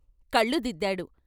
కళ్ళు దిద్దాడు.